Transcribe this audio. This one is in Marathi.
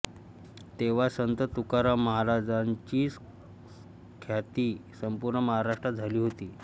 तेव्हा संत तुकाराम महाराजांची ख्याती संपूर्ण महाराष्ट्रात झाली होती